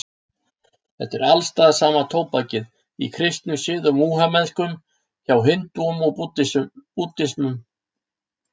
Þetta er alstaðar sama tóbakið, í kristnum sið og múhameðskum, hjá hindúum og búddistum.